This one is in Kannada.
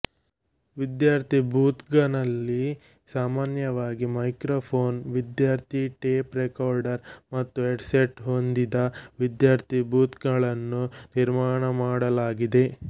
ವಿದ್ಯಾರ್ಥಿ ಬೂತ್ಗನಲ್ಲಿ ಸಾಮಾನ್ಯವಾಗಿ ಮೈಕ್ರೊಫೋನ್ ವಿದ್ಯಾರ್ಥಿ ಟೇಪ್ ರೆಕಾರ್ಡರ್ ಮತ್ತು ಹೆಡ್ಸೆಟ್ ಹೊಂದಿದ ವಿದ್ಯಾರ್ಥಿ ಬೂತ್ಗಳನ್ನು ನಿರ್ಮಾಣಮಾಡಳಾಗಿದೆ